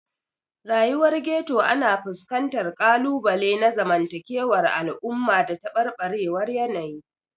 Rayuwar Ghetto ana fuskantar ƙalubale na zamantakewar al'umma da tabarbarewar yanayi.